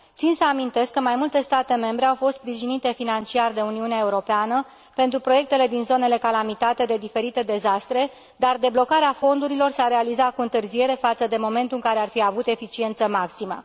Țin să amintesc că mai multe state membre au fost sprijinite financiar de Uniunea Europeană pentru proiectele din zonele calamitate de diferite dezastre, dar deblocarea fondurilor s a realizat cu întârziere față de momentul în care ar fi avut eficiență maximă.